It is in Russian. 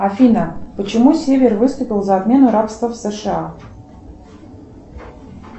афина почему север выступил за отмену рабства в сша